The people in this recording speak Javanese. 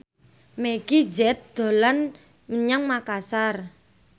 Meggie Z dolan menyang Makasar